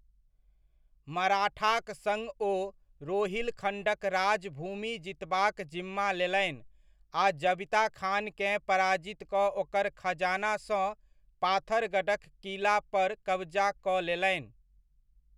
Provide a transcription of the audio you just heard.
मराठाक सङ्ग ओ रोहिलखण्डक राज भूमि जीतबाक जिम्मा लेलनि आ जबिता खानकेँ पराजित कऽ ओकर खजानासँ पाथरगढ़क किलापर कबजा कऽ लेलनि।